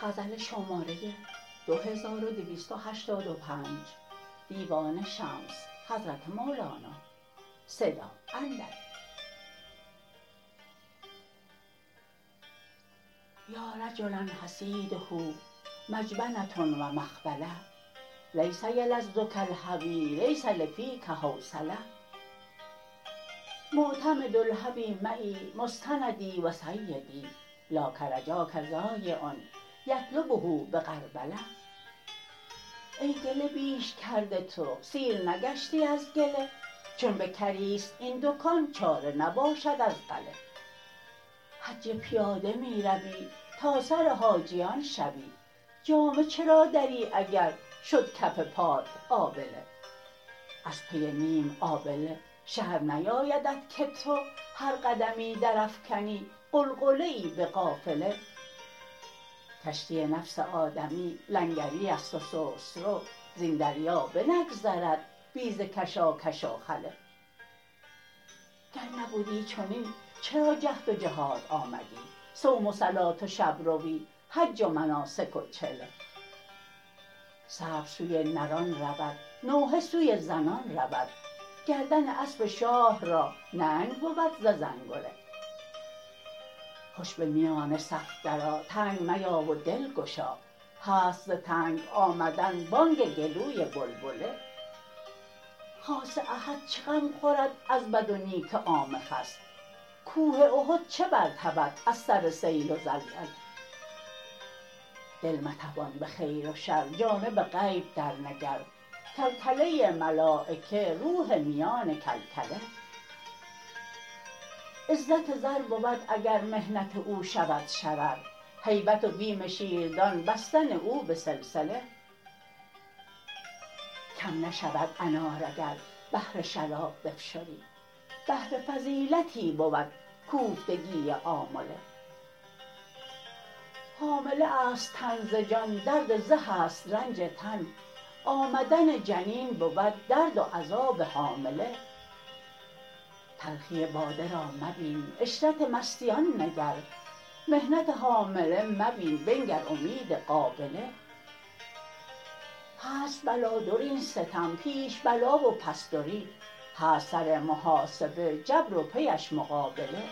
یا رجلا حصیده مجبنه و مبخله لیس یلذک الهوی لیس لفیک حوصله معتمد الهوی معی مستندی و سیدی لا کرجاک ضایع یطلبه به غربله ای گله بیش کرده تو سیر نگشتی از گله چون بکری است این دکان چاره نباشد از غله حج پیاده می روی تا سر حاجیان شوی جامه چرا دری اگر شد کف پات آبله از پی نیم آبله شرم نیایدت که تو هر قدمی درافکنی غلغله ای به قافله کشتی نفس آدمی لنگری است و سست رو زین دریا بنگذرد بی ز کشاکش و خله گر نبدی چنین چرا جهد و جهاد آمدی صوم و صلات و شب روی حج و مناسک و چله صبر سوی نران رود نوحه سوی زنان رود گردن اسب شاه را ننگ بود ز زنگله خوش به میان صف درآ تنگ میا و دلگشا هست ز تنگ آمدن بانگ گلوی بلبله خاص احد چه غم خورد از بد و نیک عام خس کوه احد چه برتپد از سر سیل و زلزله دل مطپان به خیر و شر جانب غیب درنگر کلکله ملایکه روح میان کلکله عزت زر بود اگر محنت او شود شرر هیبت و بیم شیر دان بستن او به سلسله کم نشود انار اگر بهر شراب بفشری بهر فضیلتی بود کوفتگی آمله حامله است تن ز جان درد زه است رنج تن آمدن جنین بود درد و عذاب حامله تلخی باده را مبین عشرت مستیان نگر محنت حامله مبین بنگر امید قابله هست بلادر این ستم پیش بلا و پس دری هست سر محاسبه جبر و پیش مقابله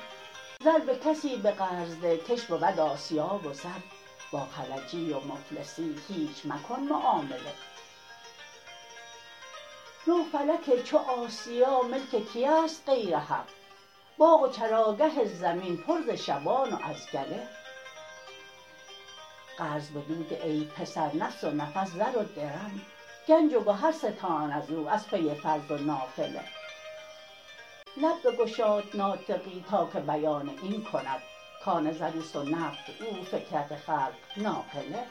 زر به کسی به قرض ده کش بود آسیا و رز با خلجی و مفلسی هیچ مکن معامله نه فلک چو آسیا ملک کیست غیر حق باغ و چراگه زمین پر ز شبان و از گله قرض بدو ده ای پسر نفس و نفس زر و درم گنج و گهر ستان از او از پی فرض و نافله لب بگشاد ناطقی تا که بیان این کند کان زر او است و نقد او فکرت خلق ناقله